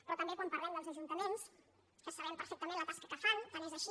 però també quan parlem dels ajuntaments que sabem perfectament la tasca que fan tant és així